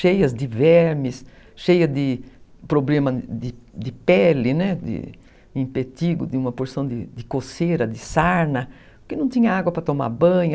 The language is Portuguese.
cheias de vermes, cheias de problemas de pele, de impetigo, de uma porção de coceira, de sarna, porque não tinha água para tomar banho.